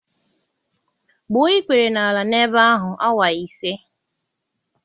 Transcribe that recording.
gbuo ikpere n'ala n'ebe ahụ awa ise.